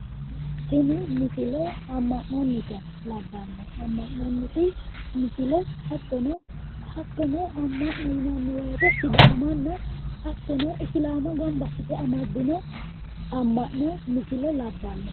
tenne misile amma'nonnita labbanno amma'nonniti misile hattono amma'no yinanni woyiite hattono sidaamanna isilaama gamba assite amaddino amma'no labbanno